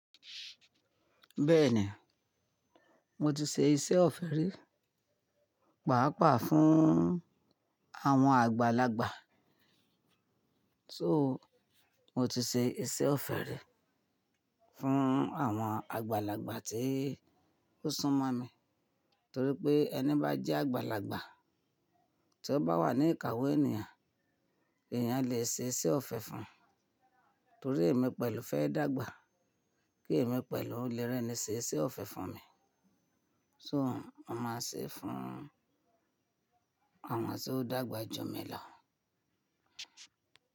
Bẹ́ẹ̀ni, mo ti ṣe iṣẹ́ ọ̀fẹ́ rí, pàápàá fún àwọn àgbàlagbà. So mo ti ṣe iṣẹ́ ọ̀fẹ́ rí fún àwọn àgbàlagbà tí ó sún mọ́ mi, torí pé ẹni bá jẹ́ àgbàlagbà tí ó bá wà ní ìkàwo ènìyàn, èeyàn lè ṣe iṣẹ́ ọ̀fẹ́ fún un. Torí èmi pẹ̀lú fẹ́ dàgbà, kí èmi pẹ̀lú lè rẹ́ni ṣe iṣẹ́ ọ̀fẹ́ fún mi. So mo máa ṣe fún àwọn tí ó dàgbà jù mí làwọn.